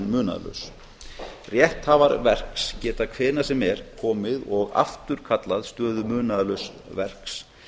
munaðarlaus rétthafar verks geta hvenær sem er komið og afturkallað stöðu munaðarlauss verks